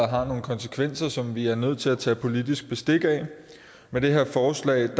har nogle konsekvenser som vi er nødt til at tage politisk bestik af med det her forslag